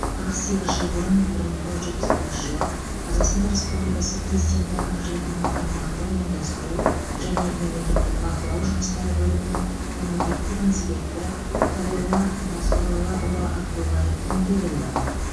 қырық сегіз жыл бұрын бір мың тоғыз жүз жетпіс бірінші жылы қазақстан республикасы президенті әкімшілігінің аймақтық ұйымдастыру және мемлекеттік бақылау жұмыстары бөлімінің мемлекеттік инспекторы қалилла насурлаұлы абдоллаев дүниеге келді